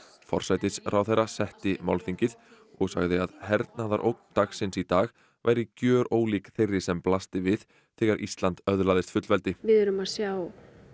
forsætisráðherra setti málþingið og sagði að hernaðarógn dagsins í dag væri gjörólík þeirri sem blasti við þegar Ísland öðlaðist fullveldi við erum að sjá